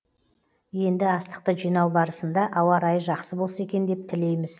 енді астықты жинау барысында ауа райы жақсы болса екен деп тілейміз